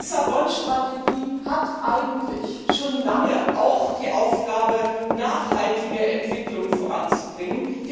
Die Lissabon Strategie hat eigentlich schon lange auch die Aufgabe, nachhaltige Entwicklung voranzubringen.